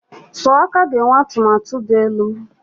Sọọ aka ga-enwe atụmatụ dị elu.